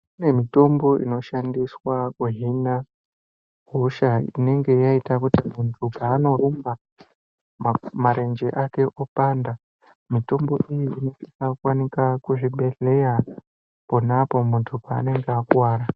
Kunemitombo inoshandiswa kuhhina hosha inenge yayita kuti muntu panorumba, marenje ake opanda. Mitombo iyi, inosisa kuwanika kuzvibhedhleya khonapo muntu panenge akuwara.